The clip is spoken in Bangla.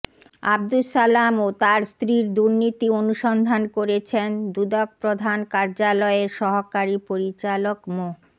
আব্দুস সালাম ও তার স্ত্রীর দুর্নীতি অনুসন্ধান করেছেন দুদক প্রধান কার্যালয়ের সহকারী পরিচালক মো